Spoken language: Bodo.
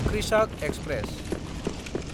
कृषक एक्सप्रेस